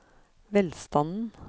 velstanden